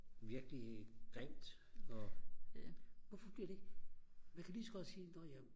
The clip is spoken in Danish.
virkelig grimt og hvorfor bliver det ikke man kan lige så godt sige når ja